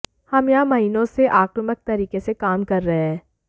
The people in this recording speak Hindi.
हम यहां महीनों से आक्रामक तरीके से काम कर रहे हैं